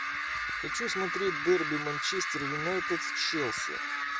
хочу смотреть дерби манчестер юнайтед с челси